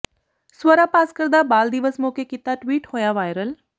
ਸਵਰਾ ਭਾਸਕਰ ਦਾ ਬਾਲ ਦਿਵਸ ਮੌਕੇ ਕੀਤਾ ਟਵੀਟ ਹੋਇਆ ਵਾਇਰਲ